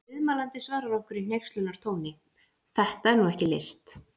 Ef viðmælandinn svarar okkur í hneykslunartóni: Þetta er nú ekki list!